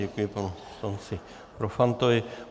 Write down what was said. Děkuji panu poslanci Profantovi.